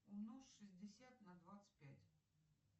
умножь шестьдесят на двадцать пять